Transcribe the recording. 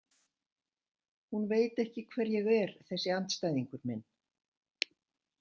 Hún veit ekki hver ég er, þessi andstæðingur minn.